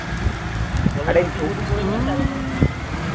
তবে বেশি কিছু করিস না